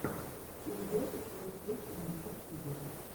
передача плейстейшена в ютьюбе